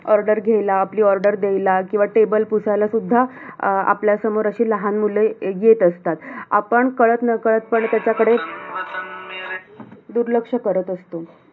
Order घ्यायला, आपली order द्यायला, किंवा table पुसायला सुद्धा अं आपल्यासमोर अशी लहान मुलं येत असतात. आपण काळत नकळतपणे त्याच्याकडे दुर्लक्ष करत असतो.